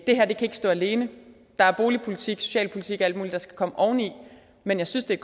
det her kan ikke stå alene der er boligpolitik socialpolitik og alt muligt der skal komme oveni men jeg synes det er